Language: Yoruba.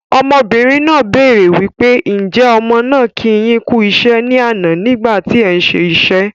Ọmọbìnrin náà béèrè wípé "Ǹ jẹ̀ ọmọ náà kì yín kú iṣẹ́ ni àná nígbà tí ẹ̀ ń ṣe iṣẹ́."